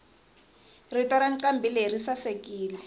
rito rancambileyi risasekile